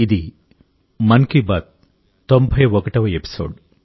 ఇది మన్ కీ బాత్ 91వ ఎపిసోడ్